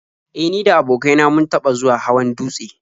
E, ni da abokain na mun taɓa zuwa hawan dutse.